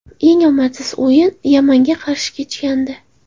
Eng omadsiz o‘yin Yamanga qarshi kechgandi.